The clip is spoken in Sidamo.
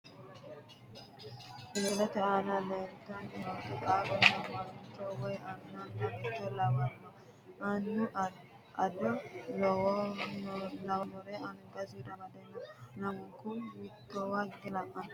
Tini misilete aana leeltanni nooti qaaqqonna mancho woyi annanna beetto lawanno annu ado lawannore angasira amade no. lamunku mittowa higge la'anni no.